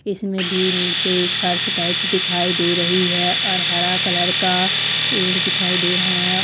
इसमे भी नीचे एक फर्श टाइप्स दिखाई दे रही है और हरा कलर का पेड़ दिखाई दे रहा है।